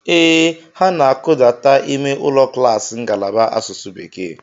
Ee, ha na-akụdata ime ụlọ klaasị ngalaba asụsụ bekee.